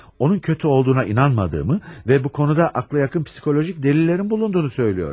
Onun kötü olduğuna inanmadığımı və bu konuda ağla yakın psixolojik dəlillərin bulunduğunu söylüyorum.